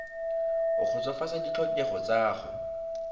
o kgotsofatsa ditlhokego tsa go